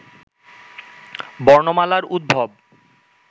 বর্ণমালার উদ্ভব